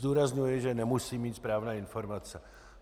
Zdůrazňuji, že nemusím mít správné informace.